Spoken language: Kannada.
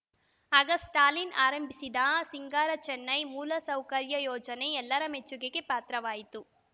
ಆಗ ಸ್ಟಾಲಿನ್‌ ಆರಂಭಿಸಿದ ಸಿಂಗಾರ ಚೆನ್ನೈ ಮೂಲಸೌಕರ್ಯ ಯೋಜನೆ ಎಲ್ಲರ ಮೆಚ್ಚುಗೆಗೆ ಪಾತ್ರವಾಯಿತು